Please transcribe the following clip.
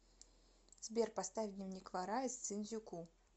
сбер поставь дневник вора из цин дзю ку